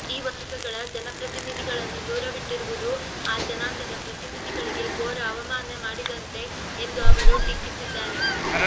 ಈ ವರ್ಗಗಳ ಜನಪ್ರತಿನಿಧಿಗಳನ್ನು ದೂರವಿಟ್ಟಿರುವುದು ಆ ಜನಾಂಗದ ಪ್ರತಿನಿಧಿಗಳಿಗೆ ಘೋರ ಅವಮಾನ ಮಾಡಿದಂತೆ ಎಂದು ಅವರು ಟೀಕಿಸಿದ್ದಾರೆ